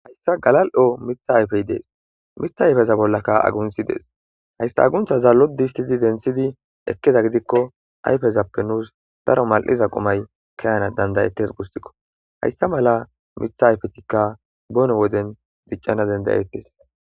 hayssa galal7o mitha ayfey dees mitha ayfeza bollaka aguntshi dees hayssa aguntha zallo distidi denthidi ekkeza gidikko ayfezappe nuus daro mal7iza qomay keyana dandayettes gussikko hayssa mala mitha ayfetikka boone woden diccana dendayettes